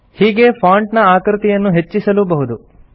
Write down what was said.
ಹೀಗೇ ಫಾಂಟ್ ನ ಆಕೃತಿಯನ್ನು ಹೆಚ್ಚಿಸಲೂ ಬಹುದು